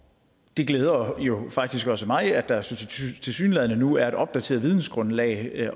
det glæder jo faktisk også mig at der tilsyneladende nu er et opdateret vidensgrundlag